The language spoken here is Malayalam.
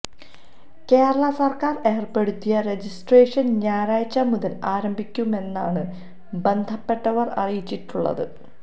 കേരള സര്ക്കാര് ഏര്പ്പെടുത്തിയ രജിസ്ട്രേഷന് ഞായറാഴ്ച്ച മുതല് ആരംഭിക്കുമെന്നാണ് ബന്ധപ്പെട്ടവര് അറിയിച്ചിട്ടുള്ളത്